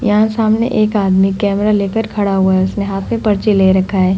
यहाँ सामने एक आदमी कैमरा लेके खड़ा हुआ है उसने हाथ में पर्ची ले रखा है।